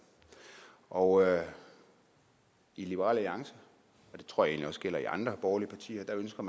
og i liberal alliance og det tror jeg egentlig også gælder i andre borgerlige partier ønsker